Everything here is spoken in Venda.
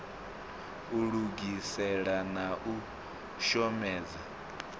u lugisela na u shomedza